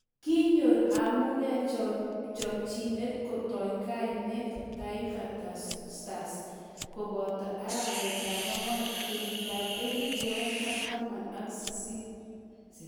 Kinyor Amunike chomchinet kotoi koneet Taifa Stars koboot arawetab ang'wan kenyitab elebu oeng ak taman ak sisit